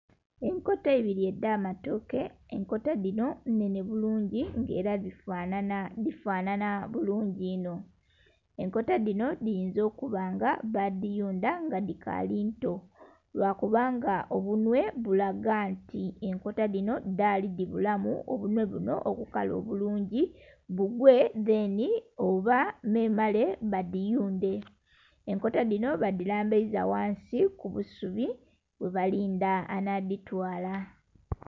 Enkota ibiri edh'amatoke enkota dhino nnhenhe bulungi nga era dhifanana bulungi inho ekota dhino dhiyiiza okuba nga badhiyuda nga dhikaali nto lwakubanga obunwe Bulaga nti enkota dhino dhaali dhibulamu obunwe buno okukala obulungi bugwe dheni oba memare badhiyunde enkota dhino badhilambayiza wansi kubusubi bwebalinda anadhitwala